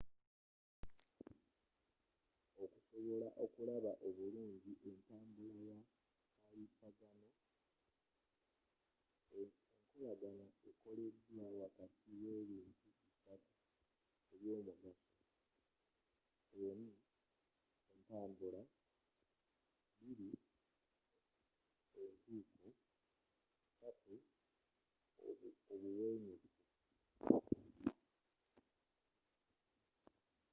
okusobola okulaba obulungi entambula ya kalipagano enkolagana ekoleddwa wakati w’ebintu bisatu eby’omugaso1entambula,2entuuko3obuwenyufu